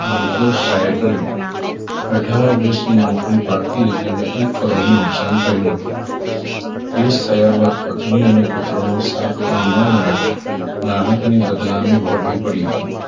નિર્દોષ જાહેર કર્યો અઠાર વર્ષની નોકરી બાકી હતી અને એક કરોડનું નુકસાન થયું હતું કેસ થયા બાદ પત્ની અને પુત્ર નો સાથ પણ ન મળ્યો. ગ્રાહક ને બદનામી વહોરવી પડી હતી